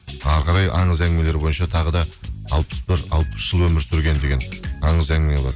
әрі қарай аңыз әңгімелері бойынша тағы да алпыс бір алпыс жыл өмір сүрген деген аңыз әңгіме бар